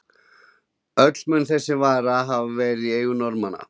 Öll mun þessi vara hafa verið í eigu Norðmanna.